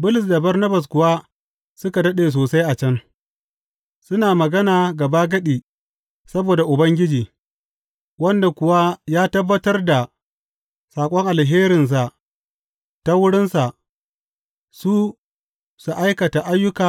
Bulus da Barnabas kuwa suka daɗe sosai a can, suna magana gabagadi saboda Ubangiji, wanda kuwa ya tabbatar da saƙon alherinsa ta wurinsa su su aikata ayyuka